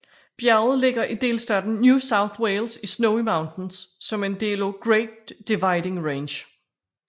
Bjerget ligger i delstaten New South Wales i Snowy Mountains som er en del af Great Dividing Range